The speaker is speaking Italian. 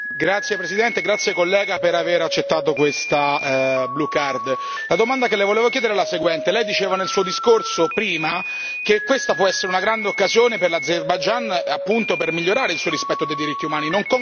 Grazie signor Presidente, grazie collega per aver accettato questa domanda. La domanda che le volevo chiedere è la seguente lei diceva nel suo discorso prima, che questa può essere una grande occasione per l'Azerbaigian, appunto per migliorare il suo rispetto dei diritti umani.